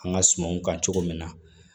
An ka sumanw kan cogo min na